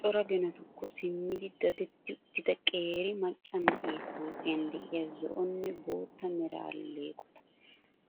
Cora ginatukko simmidi dadetti uttida qeeri macca na'ee huuphphiyan de'iyaa zo'onne bootta mera alleeqota.